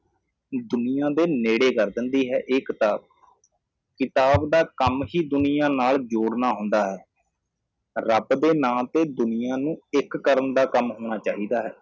ਦੁਨੀਆ ਦੇ ਨੇੜੇ ਕਰ ਦਿੰਦੀ ਹੈ ਇਹ ਕਿਤਾਬ ਕਿਤਾਬ ਦਾ ਕੰਮ ਹੀ ਦੁਨੀਆ ਨਾਲ ਜੋੜਣਾ ਹੁੰਦਾ ਹੈ ਰਬ ਦੇ ਨਾਂ ਤੇ ਦੁਨੀਆ ਨੂੰ ਇੱਕ ਕਰਨ ਦਾ ਕੰਮ ਹੋਣਾ ਚਾਹੀਦਾ ਹੈ